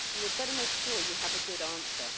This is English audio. you had better make sure you have a good answer.